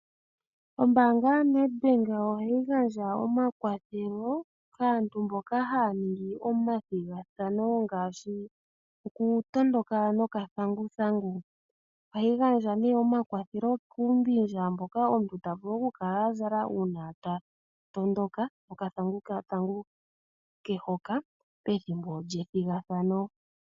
Ombaanga yo Nedbank oha yi gandja omakwathelo kaantu mboka ha ya ningi omathigathano ngaashi okumatuka nokathanguthangu .ohayi gandja nee omakwatho guumbidja mboka omuntu tavulu oku kala azala uuna ta matuka nokathanguthangu ke hoka pethimbo lyethigathano